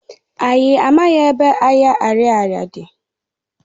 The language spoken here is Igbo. Anyị amaghị ebe ahịa Ariaria dị.